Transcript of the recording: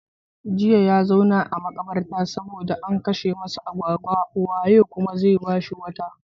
Jiya ya zauna a makabarta saboda an kashe masa agwagwa, waye kuma bashi wata?